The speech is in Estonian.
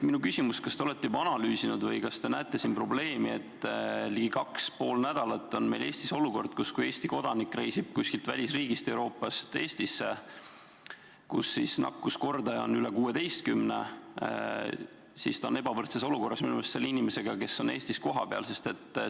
Kas te olete juba analüüsinud või kas te näete siin probleemi, et ligi kaks ja pool nädalat on meil Eestis olukord, kus Eesti kodanik, kes reisib Eestisse Euroopa riigist, kus nakkuskordaja on üle 16, on ebavõrdses olukorras, võrreldes selle inimesega, kes on Eestis kohapeal?